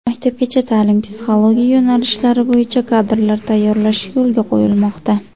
Maktabgacha ta’lim, psixologiya yo‘nalishlari bo‘yicha kadrlar tayyorlash yo‘lga qo‘yilmoqda.